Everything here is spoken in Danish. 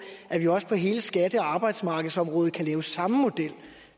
at vi også på hele skatte og arbejdsmarkedsområdet kan lave samme model